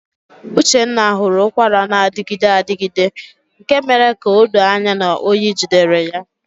Uchenna hụrụ ụkwara na-adịgide adịgide nke mere ka o doo anya na oyi jidere ya.